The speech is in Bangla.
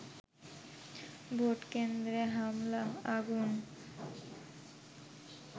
ভোটকেন্দ্রে হামলা, আগুন